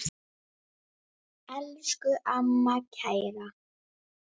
Blómin standa í klasa.